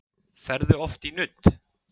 Ferðu oft í nudd?